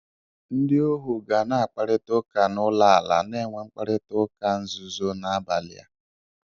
Ndị ohu ga na-akparịta ụka n'olù ala, na-enwe mkparịta ụka nzuzo n'abalị a.